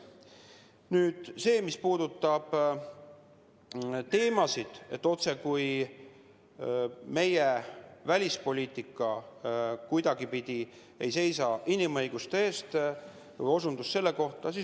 Nüüd see, mis puudutab osutust, et meie välispoliitika kuidagipidi ei seisa inimõiguste eest.